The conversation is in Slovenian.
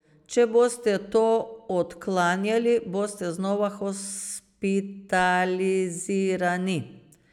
Če boste to odklanjali, boste znova hospitalizirani.